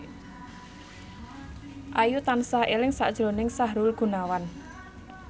Ayu tansah eling sakjroning Sahrul Gunawan